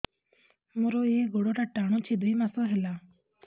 ମୋର ଏଇ ଗୋଡ଼ଟା ଟାଣୁଛି ଦୁଇ ମାସ ହେଲା